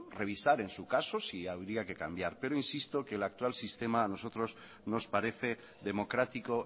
revisar en su caso si habría que cambiar pero insisto que el actual sistema a nosotros nos parece democrático